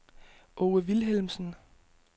Aage Vilhelmsen